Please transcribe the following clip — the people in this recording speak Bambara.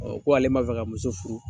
Ko ale kun m'a fɛ ka muso furu